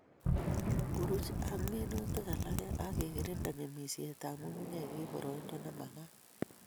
Buruch ak minutik alake ak ikirinde ng'emisietab nyung'unyek eng boroindo ne makat